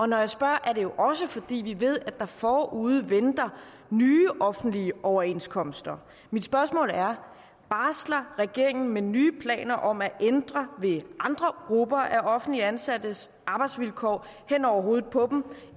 når jeg spørger er det jo også fordi vi ved at der forude venter nye offentlige overenskomstforhandlinger mit spørgsmål er barsler regeringen med nye planer om at ændre ved andre grupper af offentligt ansattes arbejdsvilkår hen over hovedet på dem